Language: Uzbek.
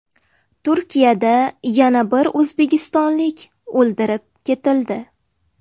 Turkiyada yana bir o‘zbekistonlik o‘ldirib ketildi.